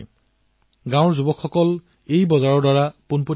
গ্ৰামীণ যুৱকে পোনে পোনে বজাৰত খেতি আৰু বিক্ৰী প্ৰক্ৰিয়াৰ সৈতে জড়িত হব পাৰে